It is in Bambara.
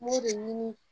N b'o de ɲini